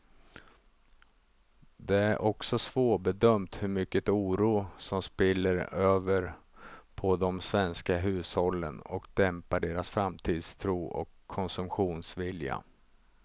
Det är också svårbedömt hur mycket oro som spiller över på de svenska hushållen och dämpar deras framtidstro och konsumtionsvilja.